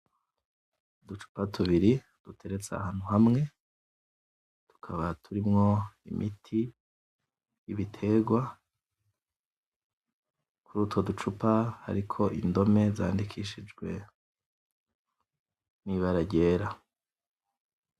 Uducupa tubiri duteretse ahantu hamwe, tukaba turimwo imiti w'ibiterwa, kurutwo ducupa hakaba hariko indome zandikishijwe n'Ibara ryera.